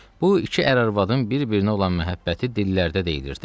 Bu iki ər arvadın bir-birinə olan məhəbbəti dillərdə deyilirdi.